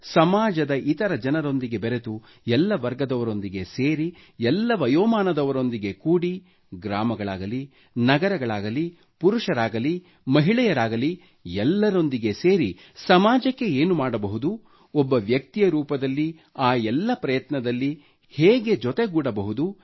ಸಮಾಜದ ಇತರ ಜನರೊಂದಿಗೆ ಬೆರೆತು ಎಲ್ಲ ವರ್ಗದವರೊಂದಿಗೆ ಸೇರಿ ಎಲ್ಲ ವಯೋಮಾನದವರೊಂದಿಗೆ ಕೂಡಿ ಗ್ರಾಮಗಳಾಗಲಿ ನಗರಗಳಾಗಲಿ ಪುರುಷರಾಗಲಿ ಮಹಿಳೆಯರಾಗಲೀ ಎಲ್ಲರೊಂದಿಗೆ ಸೇರಿ ಸಮಾಜಕ್ಕೆ ಏನು ಮಾಡಬಹುದು ಒಬ್ಬ ವ್ಯಕ್ತಿಯ ರೂಪದಲ್ಲಿ ಆ ಪ್ರಯತ್ನದಲ್ಲಿ ಹೇಗೆ ಜೊತೆಗೂಡಬಹುದು